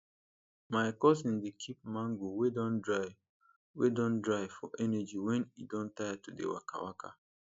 my cousin dey keep mango wey don dry wey don dry for energy when e don tire to dey waka waka